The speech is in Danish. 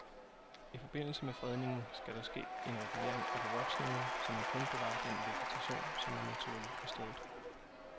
I forbindelse med fredningen skal der ske en regulering af bevoksningen, så man kun bevarer den vegetation, som er naturlig på stedet.